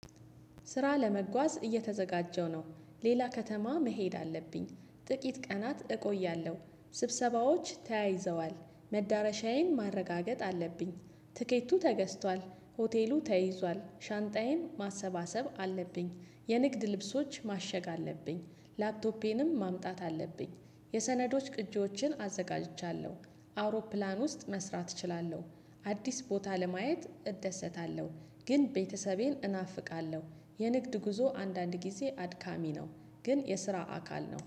ስራ ለመጓዝ እየተዘጋጀሁ ነው ሌላ ከተማ መሄድ አለብኝ። ጥቂት ቀናት እቆያለሁ ስብሰባዎች ተያይዘዋል መዳረሻዬን ማረጋገጥ አለብኝ። ትኬቱ ተገዝቷል ሆቴሉ ተይዟል ሻንጣዬን ማሰባሰብ አለብኝ። የንግድ ልብሶች ማሸግ አለብኝ ላፕቶፔንም ማምጣት አለብኝ። የሰነዶች ቅጂዎችን አዘጋጅቻለሁ አውሮፕላን ውስጥ መስራት እችላለሁ። አዲስ ቦታ ለማየት እደሰታለሁ። ግን ቤተሰቤን እናፍቃለሁ የንግድ ጉዞ አንዳንድ ጊዜ አድካሚ ነው። ግን የስራ አካል ነው